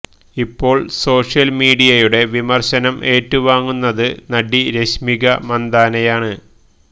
ഇപ്പോള് സോഷ്യല് മീഡിയയുടെ വിമര്ശനം ഏറ്റുവാങ്ങുന്നത് നടി രശ്മിക മന്ദാനയാണ്